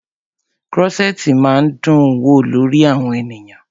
Krọ́ṣẹ̀tì máa ń dún wò lórí àwọn ènìyàn.